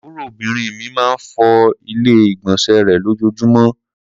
Àbúròbìnrin mi máa ń fọ Ilé-ìgbọ̀nsẹ̀ rẹ̀ lójoojúmọ́ bmm.